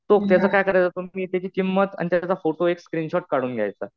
तो त्याचं काय करायचं तर तुम्ही त्याची किंमत आणि त्याचा फोटो एक स्क्रिनशॉट काढून घ्यायचा.